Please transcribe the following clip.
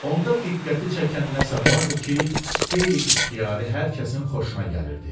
Onda diqqəti çəkən nəsə vardı ki, qeyri-ixtiyari hər kəsin xoşuna gəlirdi.